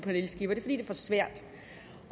svært